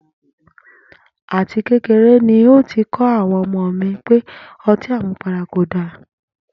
À ti kéreré ni n óò ti kó̩ àwo̩n o̩mó mi pé o̩tí àmupara kò dára